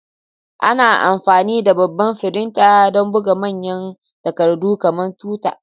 Ana amfani da babban firinta don buga manyan takardu kamar tuta.